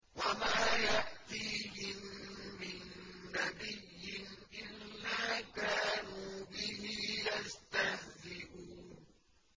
وَمَا يَأْتِيهِم مِّن نَّبِيٍّ إِلَّا كَانُوا بِهِ يَسْتَهْزِئُونَ